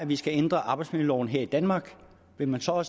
vi skal ændre arbejdsmiljøloven her i danmark vil man så